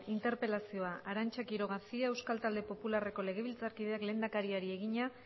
interpelazioa arantza quiroca cia euskal talde popularreko legebiltzarkideak lehendakariari egina